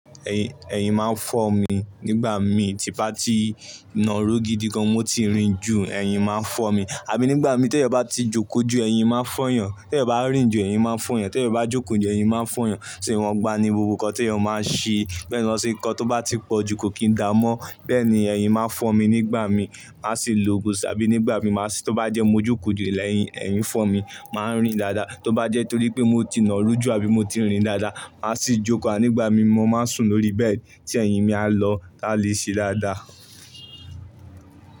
Ẹ̀yin, ẹ̀yin máa ń fọ́ mi nígbà mi ti bá ti nà rú gidi gan mo ti rìn ju. Ẹ̀yin máa ń fọ́ mi, àbí nígbà mi tí ẹ bá ti jókòó ju ẹ̀yin máa ń fọ́yan, tí ẹ bá rìn ju ẹ̀yin máa ń fọ́yan, tí ẹ bá jókòó ju ẹ̀yin máa ń fọ́yan. Ṣé wọn gba ni gbogbo nǹkan tí ẹ máa ń ṣe? Bẹ́ẹ̀ ni lọ́ ṣe nǹkan tó bá ti pọ̀ jú kò kì í dáa mọ́. Bẹ́ẹ̀ ni ẹ̀yin máa ń fọ́ mi nígbà mi máa ṣe lògùn, ṣàbí nígbà mi máa ṣé tó bá jẹ́ mo jókòó ju ilẹ̀ ẹyin, ẹ̀yin fọ́ mi, mà á rìn dáadáa. Tó bá jẹ́ torí pé mo ti nà rú jù, àbí mo ti rìn dáadáa, mà á sì jókòó, ànígbà mí mo máa ń sùn lórí bẹ́ẹ̀ tí ẹ̀yin mi a lọ láti lè ṣe dáadáa.